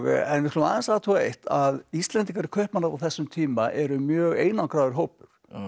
en við skulum aðeins athuga eitt að Íslendingar í Kaupmannahöfn á þessum tíma eru mjög einangraður hópur